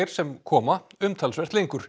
sem koma umtalsvert lengri